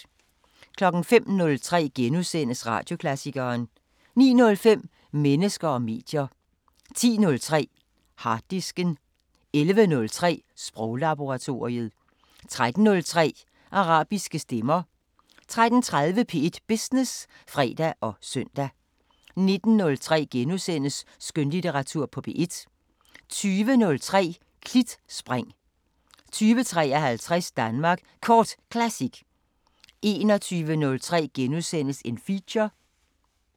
05:03: Radioklassikeren * 09:05: Mennesker og medier 10:03: Harddisken 11:03: Sproglaboratoriet 13:03: Arabiske Stemmer 13:30: P1 Business (fre og søn) 19:03: Skønlitteratur på P1 * 20:03: Klitspring 20:53: Danmark Kort Classic 21:03: Feature *